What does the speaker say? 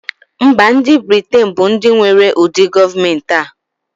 Mba ndi britain bu ndi nwere ụdị gọọmenti a.